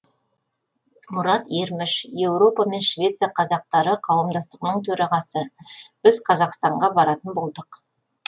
мұрат ерміш еуропа мен швеция қазақтары қауымдастығының төрағасы біз қазақстанға баратын болдық